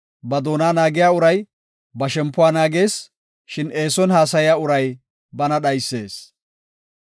Ba doona naagiya uray ba shempuwa naagees; shin eeson haasaya uray bana dhaysees.